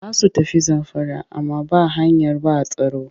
Za su tafi Zamfara amma ba hanyar ba tsaro